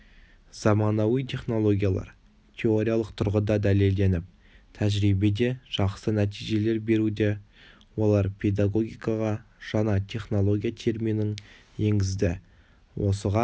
заманауи технологиялар теориялық тұрғыда дәлелденіп тәжірибеде жақсы нәтижелер беруде олар педагогикаға жаңа технология терминін енгізді осыған